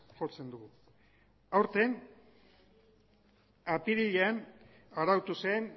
jotzen dugu aurten apirilean